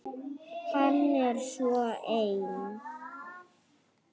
Hann er svo ein